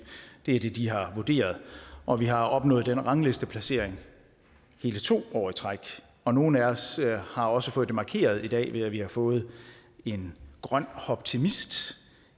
det er det de har vurderet og vi har opnået den ranglisteplacering hele to år i træk og nogle af os har også fået det markeret i dag ved at vi har fået en grøn hoptimist